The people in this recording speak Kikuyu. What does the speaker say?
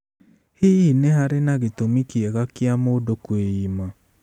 Hihi nĩ harĩ gĩtũmi kĩega gĩa mũndũ kwĩima?